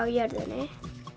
jörðinni